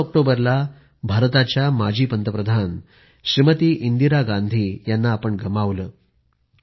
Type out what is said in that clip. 31 ऑक्टोबरला भारताच्या पूर्व पंतप्रधान श्रीमती इंदिरा गांधी यांना आपण गमावले